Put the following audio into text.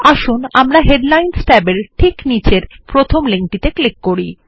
আসুন আমরা headlines tab এর ঠিক নীচের প্রথম লিঙ্ক টিতে ক্লিক করি